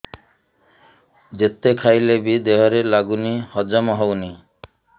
ଯେତେ ଖାଇଲେ ବି ଦେହରେ ଲାଗୁନି ହଜମ ହଉନି